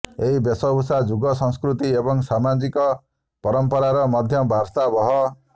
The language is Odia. ଏହି ବେଶଭୂଷା ଯୁଗ ସଂସ୍କୃତି ଏବଂ ସାମାଜିକ ପରମ୍ପରାର ମଧ୍ୟ ବାର୍ତ୍ତାବହ